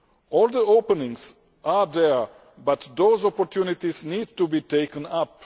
All the openings are there but those opportunities need to be taken up.